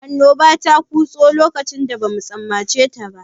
Annoba ta kutso lokacin da bamu tsammaceta ba.